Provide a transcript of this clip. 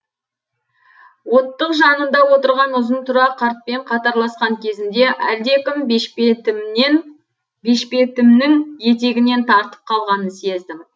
оттық жанында отырған ұзын тұра қартпен қатарласқан кезімде әлдекім бешпетімнің етегінен тартып қалғанын сездім